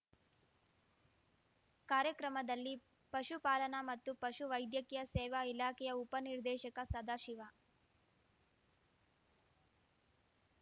ಕಾರ್ಯಕ್ರಮದಲ್ಲಿ ಪಶುಪಾಲನಾ ಮತ್ತು ಪಶು ವೈದ್ಯಕೀಯ ಸೇವಾ ಇಲಾಖೆಯ ಉಪ ನಿರ್ದೇಶಕ ಸದಾಶಿವ